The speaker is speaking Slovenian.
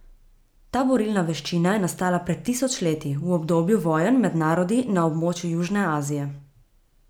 Ta borilna veščina je nastala pred tisoč leti, v obdobju vojn med narodi na območju južne Azije.